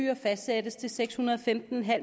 seks hundrede og femten